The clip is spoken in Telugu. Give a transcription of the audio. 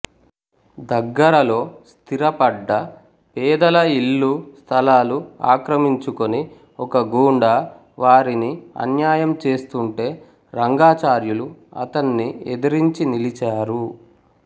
దగ్గరలో స్థిరపడ్డ పేదల ఇళ్ళు స్థలాలు ఆక్రమించుకుని ఒక గూండా వారిని అన్యాయం చేస్తుంటే రంగాచార్యులు అతన్ని ఎదరించి నిలిచారు